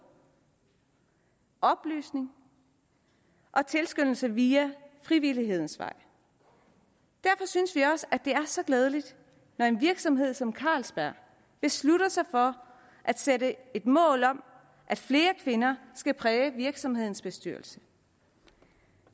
oplysning og tilskyndelse via frivillighedens vej derfor synes vi også det er så glædeligt når en virksomhed som carlsberg beslutter sig for at sætte et mål om at flere kvinder skal præge virksomhedens bestyrelse